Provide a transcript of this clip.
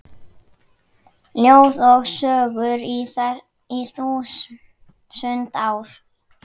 Ljóð og sögur í þúsund ár